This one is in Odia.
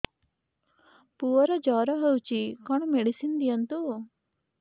ପୁଅର ଜର ହଉଛି କଣ ମେଡିସିନ ଦିଅନ୍ତୁ